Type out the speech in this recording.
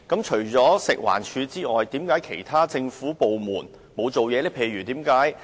除食環署外，為何其他政府部門沒有行動呢？